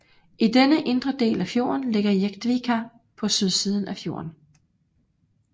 I denne indre del af fjorden ligger Jektvika på sydsiden af fjorden